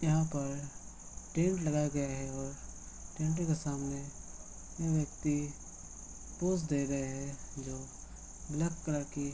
यहाँ पर टेंट लगाया गया है और टेंट के सामने तीन व्यक्ति पोज़ दे रहे हैं जो ब्लैक कलर की --